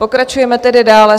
Pokračujeme tedy dále.